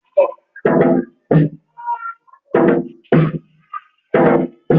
Awọn Ẹka gbọngàn ṣe ipínyá awọn ọmọ ìlé-ìwé sí awọn ẹka